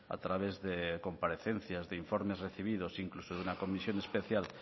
a través de comparecencias de informes recibidos incluso de una comisión especial